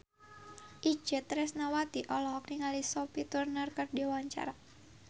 Itje Tresnawati olohok ningali Sophie Turner keur diwawancara